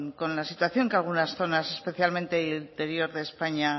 con la situación que algunas zonas especialmente en el interior de españa